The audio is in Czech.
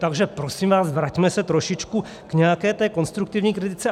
Takže prosím vás, vraťme se trošičku k nějaké té konstruktivní kritice.